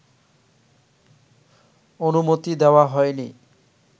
অনুমতি দেওয়া হয়নি